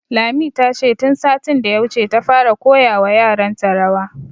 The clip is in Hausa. Lami, ta ce tun satin da ya wuce ta fara koya wa yaran ta rawa